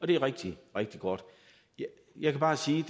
det er rigtig rigtig godt jeg kan bare sige